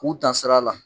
K'u dansira la